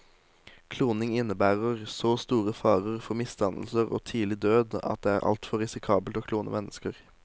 Kloning innebærer så store farer for misdannelser og tidlig død at det er altfor risikabelt å klone mennesker.